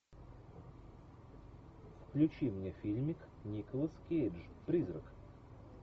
включи мне фильмик николас кейдж призрак